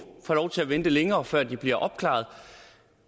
få lov til at vente længere før de bliver opklaret